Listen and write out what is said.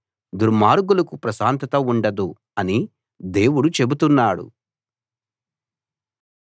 దుర్మార్గులకు ప్రశాంతత ఉండదు అని దేవుడు చెబుతున్నాడు